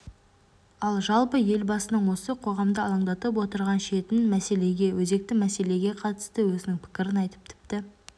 ал жалпы елбасының осы қоғамды алаңдатып отырған шетін мәселеге өзекті мәселеге қатысты өзінің пікірін айтып тіпті